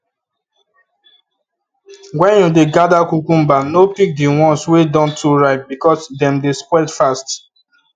when you dey gather cucumber no pick the ones wey don too ripe because dem dey spoil fast